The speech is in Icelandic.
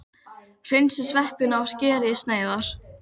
Hreinsið sveppina og skerið í sneiðar.